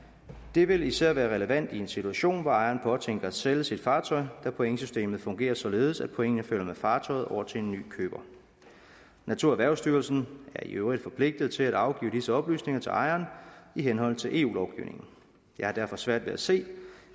det vil især være relevant i en situation hvor ejeren påtænker at sælge sit fartøj da pointsystemet fungerer således at pointene følger med fartøjet over til en ny køber naturerhvervsstyrelsen er i øvrigt forpligtet til at afgive disse oplysninger til ejeren i henhold til eu lovgivningen jeg har derfor svært ved at se